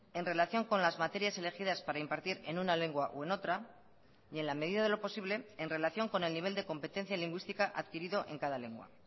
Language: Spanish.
en relación con las materias elegidas para impartir en una lengua o en otra y en la medida de lo posible en relación con el nivel de competencia lingüística adquirido en cada lengua